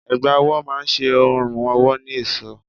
Ẹ̀gbá ọwọ́ má ṣe ọrùn ọwọ́ ní èṣọ́.